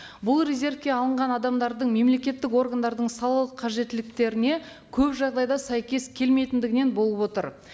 бұл резервке алынған адамдардың мемлекеттік органдардың салалық қажеттіліктеріне көп жағдайда сәйкес келмейтіндігінен болып отыр